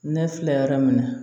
Ne filɛ yɔrɔ min na